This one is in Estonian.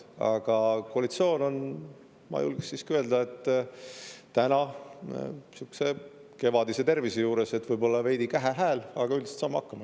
Aga koalitsioon, ma julgeks siiski öelda, on täna sihukese kevadise tervise juures, et võib-olla veidi kähe hääl, aga üldiselt saame hakkama.